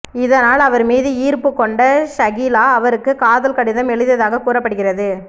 இதனால் அவர் மீது ஈர்ப்பு கொண்ட ஷகிலா அவருக்கு காதல் கடிதம் எழுதியதாக கூறப்படுகிறது